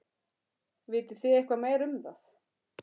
Vitið þið eitthvað meira um það?